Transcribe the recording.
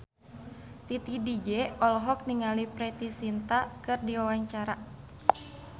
Titi DJ olohok ningali Preity Zinta keur diwawancara